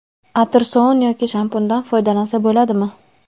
atir sovun yoki shampundan foydalansa bo‘ladimi?.